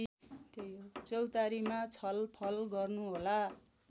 चौतारीमा छलफल गर्नुहोला